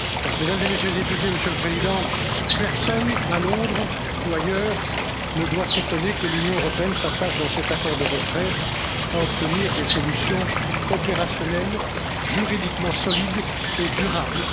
Mesdames et Messieurs les députés, Monsieur le Président, personne à Londres ou ailleurs ne doit s'étonner que l'Union européenne s'attache, dans cet accord de retrait, à obtenir des solutions opérationnelles juridiquement solides et durables.